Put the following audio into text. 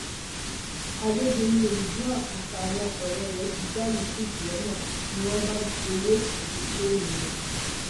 àgẹgẹ ni ridwan àtàwọn ọrẹ ẹ ti dá yusuf lọnà ni wọn bá gbowó àti fóònù ẹ